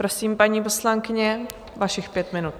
Prosím, paní poslankyně, vašich pět minut.